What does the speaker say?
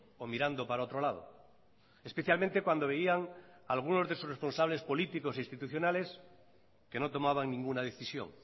o mirando para otro lado especialmente cuando veían alguno de sus responsables políticos institucionales que no tomaba ninguna decisión